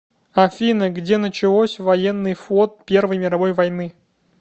афина где началось военный флот первой мировой войны